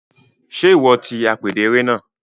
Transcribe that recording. Ṣe iwọ ti apèdè eré náà?